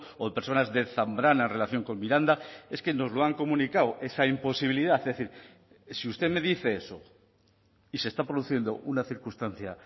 o personas de zambrana en relación con miranda es que nos lo han comunicado esa imposibilidad es decir si usted me dice eso y se está produciendo una circunstancia